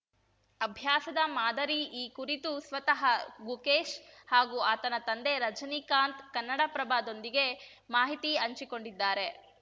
ಅಭ್ಯಾಸದ ಮಾದರಿ ಈ ಕುರಿತು ಸ್ವತಃ ಗುಕೇಶ್‌ ಹಾಗೂ ಆತನ ತಂದೆ ರಜನಿಕಾಂತ್‌ ಕನ್ನಡಪ್ರಭದೊಂದಿಗೆ ಮಾಹಿತಿ ಹಂಚಿಕೊಂಡಿದ್ದಾರೆ